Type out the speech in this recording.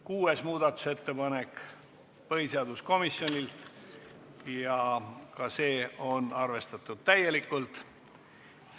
Kuues muudatusettepanek on põhiseaduskomisjonilt ja ka see on täielikult arvestatud.